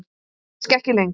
En kannski ekki lengur.